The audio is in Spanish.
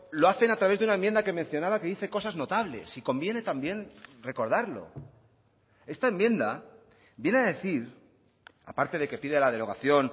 lo hacen a través de una enmienda que mencionaba que dice cosas notables y conviene también recordarlo esta enmienda viene a decir aparte de que pide la derogación